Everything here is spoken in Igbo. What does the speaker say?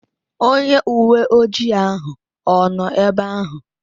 Onye uwe ojii ahụ ọ nọ ebe ahụ?